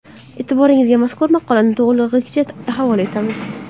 E’tiboringizga mazkur maqolani to‘lig‘icha havola etamiz.